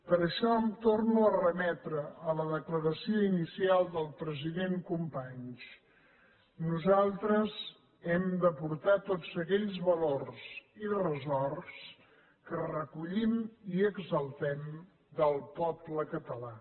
per això em torno a remetre a la declaració inicial del president companys nosaltres hem d’aportar tots aquells valors i ressorts que recollim i exaltem del poble català